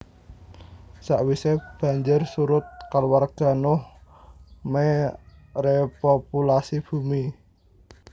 Sakwise banjir surut kaluwarga Nuh me repopulasi bumi